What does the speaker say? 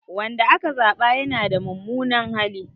Wanda aka zaba yana da mummunan hali.